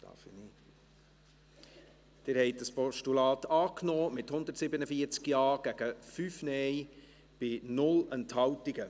Sie haben dieses Postulat angenommen, mit 147 Ja- gegen 5 Nein-Stimmen bei 0 Enthaltungen.